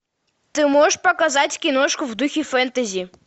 ты можешь показать киношку в духе фэнтези